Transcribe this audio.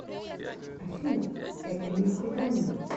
афина это не свидание